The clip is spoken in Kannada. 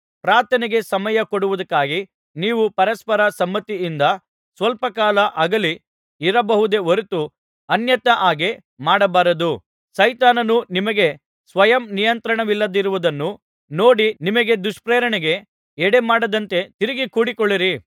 ಪ್ರಾರ್ಥನೆಗೆ ಸಮಯ ಕೊಡುವುದಕ್ಕಾಗಿ ನೀವು ಪರಸ್ಪರ ಸಮ್ಮತಿಯಿಂದ ಸ್ವಲ್ಪ ಕಾಲ ಅಗಲಿ ಇರಬಹುದೇ ಹೊರತು ಅನ್ಯತಾ ಹಾಗೆ ಮಾಡಬಾರದು ಸೈತಾನನು ನಿಮಗೆ ಸ್ವಯಂ ನಿಯಂತ್ರಣವಿಲ್ಲದಿರುವುದನ್ನು ನೋಡಿ ನಿಮಗೆ ದುಷ್ಪ್ರೇರಣೆಗೆ ಎಡೆ ಮಾಡದಂತೆ ತಿರುಗಿ ಕೂಡಿಕೊಳ್ಳಿರಿ